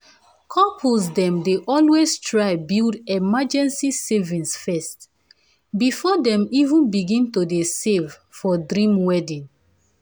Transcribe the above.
couples dem dey always try build emergency savings first before dem even begin to dey save for dream wedding.